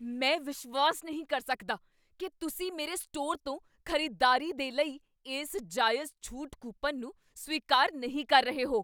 ਮੈਂ ਵਿਸ਼ਵਾਸ ਨਹੀਂ ਕਰ ਸਕਦਾ ਕੀ ਤੁਸੀਂ ਮੇਰੇ ਸਟੋਰ ਤੋਂ ਖ਼ਰੀਦਦਾਰੀ ਦੇ ਲਈ ਇਸ ਜਾਇਜ਼ ਛੂਟ ਕੂਪਨ ਨੂੰ ਸਵੀਕਾਰ ਨਹੀਂ ਕਰ ਰਹੇ ਹੋ।